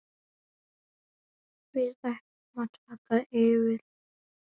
Við ætlum að taka yfir.